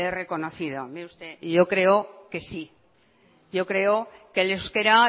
reconocido mire usted y yo creo que sí yo creo que el euskera